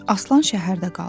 Aslan şəhərdə qaldı.